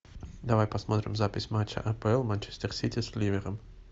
давай посмотрим запись матча апл манчестер сити с ливером